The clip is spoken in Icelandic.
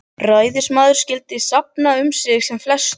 Ræðismaðurinn skyldi safna um sig sem flestum